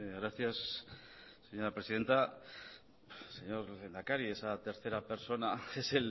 gracias señora presidenta señor lehendakari esa tercera persona es